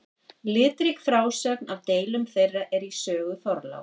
Litrík frásögn af deilum þeirra er í sögu Þorláks.